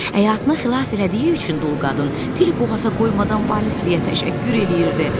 Həyatını xilas elədiyi üçün dul qadın dili boğaza qoymadan Valisliyə təşəkkür eləyirdi.